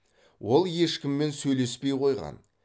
ол ешкіммен сөйлеспей қойған